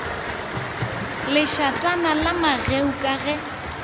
lešathana la mageu ka ge